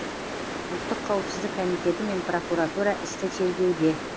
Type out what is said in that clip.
ұлттық қауіпсіздік комитеті мен прокуратура істі тергеуде